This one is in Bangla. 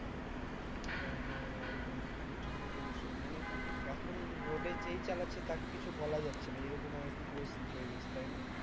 হ্যাঁ হ্যাঁ একদম একদম ঠিকই বলেছো মানে এখন road এ যেই চালাচ্ছে তাকে কিছু বলা যাচ্ছে না এই রকম আর কি পরিস্থিতি